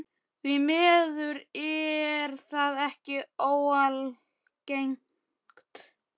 Því miður er það ekki óalgengt.